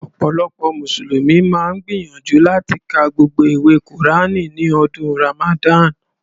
Ọ̀pọ̀lọpọ̀ mùsùlùmí máa ń gbìyànjú láti ka gbogbo ìwé kùránì ní ọdún Ràmàdánì.